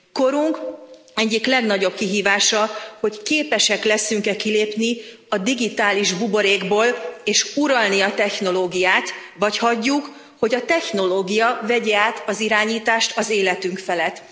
Korunk egyik legnagyobb kihívása, hogy képesek leszünk e kilépni a digitális buborékból és uralni a technológiát, vagy hagyjuk, hogy a technológia vegye át az irányítást az életünk felett.